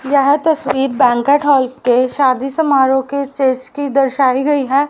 यह तस्वीर banquet hall के शादी समारोह के स्टेज की दर्शाई गई हैं।